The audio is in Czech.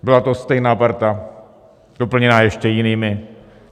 Byla to stejná parta doplněná ještě jinými.